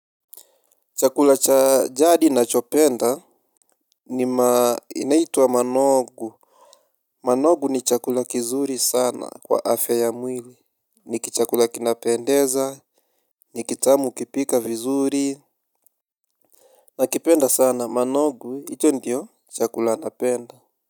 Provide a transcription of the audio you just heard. Chakula cha jadi nachopenda ni inaitwa manogu. Manogu ni chakula kizuri sana kwa afya ya mwili. Niki chakula kinapendeza. Ni kitamu ukipika vizuri. Nakipenda sana manogu icho ndio chakula napenda.